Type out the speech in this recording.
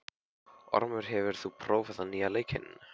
Ormur, hefur þú prófað nýja leikinn?